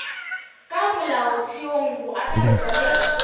ka molaotheong go akaretšwa le